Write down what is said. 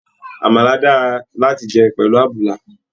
Àmàlà dára láti jẹ pẹlú àbùlà.